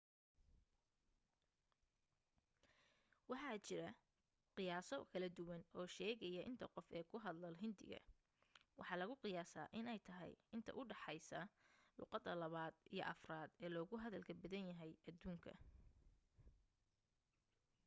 waxa jira qiyaaso kala duwan oo sheegaya inta qof ee ku hadla hindiga waxa lagu qiyaasaa inay tahay inta u dhexaysa luuqadda labaad iyo afraad ee loogu hadalka badan yahay adduunka